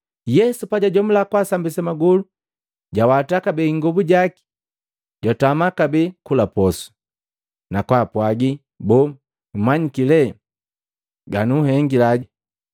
Yesu pajwajomula kwaasambisa magolu jawata kabee ingobu jaki, jwatama kabee kula posu, nakwaapwagi, “Boo, mmanyiki lee ganunhengile?”